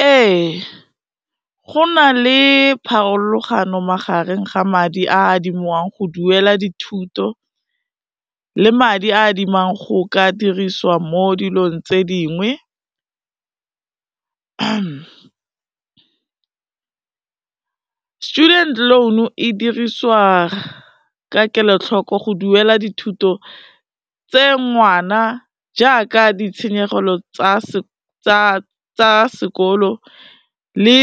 Ee, go na le pharologano magareng ga madi a adimiwang go duela dithuto le madi a adimang go ka dirisiwa mo dilong tse dingwe, student loan e dirisiwa ka kelotlhoko go duela dithuto tse ngwana, jaaka ditshenyegelo tsa sekolo le